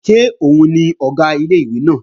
Ṣé òun ni Ọ̀gá ilé-ìwé náà?